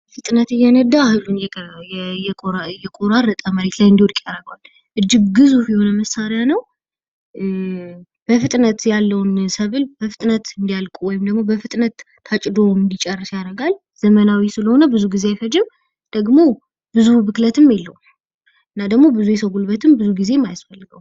በፍጥነት እየነዳ እህሉን እየቆራረጠ መሬት ላይ እንድውድቅ ያደርገዋል። እጅግ ግዙፍ የሆነ መሳሪያ ነው። በፍጥነት ምርትን ለማጨድ ይጠቅማል ።እና ደግሞ ብዙ የሰው ጉልበትም አይጠይቅም።